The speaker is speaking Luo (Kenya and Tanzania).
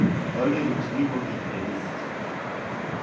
olly ruch gimogik e list